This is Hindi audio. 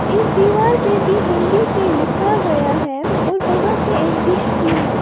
इस दीवार पे भी हिंदी से लिखा गया है और वहां से एक डिश भी है।